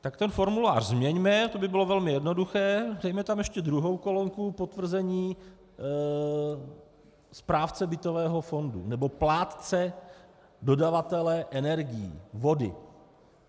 Tak ten formulář změňme, to by bylo velmi jednoduché, dejme tam ještě druhou kolonku "potvrzení správce bytového fondu nebo plátce dodavatele energií, vody".